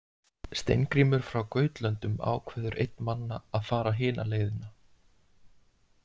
Steingrímur frá Gautlöndum ákveður einn manna að fara hina leiðina.